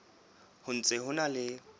ho ntse ho na le